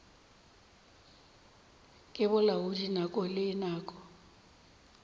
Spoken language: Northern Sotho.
ke bolaodi nako le nako